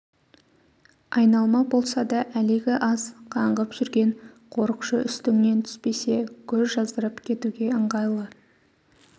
айналма болса да әлегі аз қаңғып жүрген қорықшы үстіңнен түспесе көз жаздырып кетуге ыңғайлы